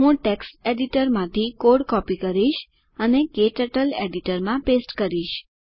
હું ટેક્સ્ટ એડિટરમાંથી code copy કરીશ અને ક્ટર્ટલ એડિટરમાં પેસ્ટ કરીશ